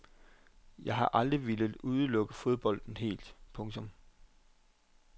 Jeg har aldrig villet udelukke fodbolden helt. punktum